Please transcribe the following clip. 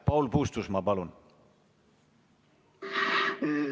Paul Puustusmaa, palun!